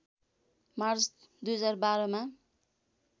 March २०१२मा